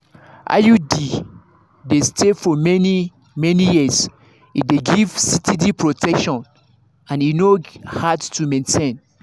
iud dey stay for many-many years e dey give steady protection and e no hard to maintain.